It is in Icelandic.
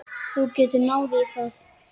Þú getur náð í það.